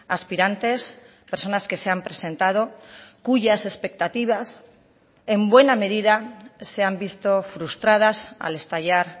aspirantes personas que se han presentado cuyas expectativas en buena medida se han visto frustradas al estallar